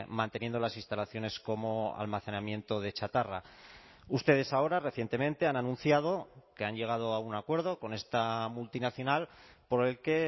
manteniendo las instalaciones como almacenamiento de chatarra ustedes ahora recientemente han anunciado que han llegado a un acuerdo con esta multinacional por el que